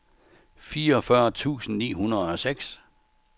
fireogfyrre tusind ni hundrede og seks